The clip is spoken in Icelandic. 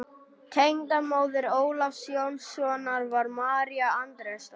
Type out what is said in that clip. Tengdamóðir Ólafs Jónssonar var María Andrésdóttir.